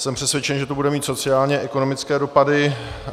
Jsem přesvědčen, že to bude mít sociálně-ekonomické dopady.